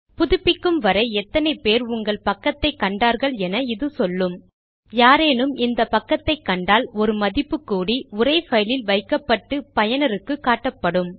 புதுப்பிக்கும் வரை எத்தனை பேர் உங்கள் பக்கத்தை கண்டார்கள் என இது சொல்லும் யாரேனும் இந்த பக்கத்தை கண்டால் ஒரு மதிப்பு கூடி உரை பைலில் வைக்கப்பட்டு பயனருக்கு காட்டப்படும்